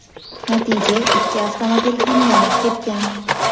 Natija ikki avtomobil ham yonib ketgan.